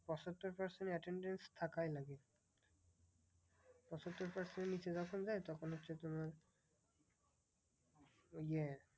পঁচাত্তর percent attendance থাকাই লাগে। পঁচাত্তর percent এর নিচে যখন যায় তখন হচ্ছে তোমার ওই যে